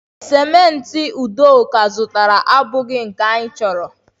cimenti udoka zụtara abụghị nke anyị chọrọ